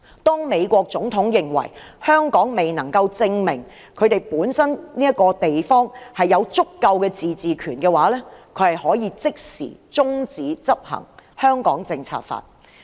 如美國總統認為香港未能證明本身有足夠自治權，就可以立即中止執行《香港政策法》。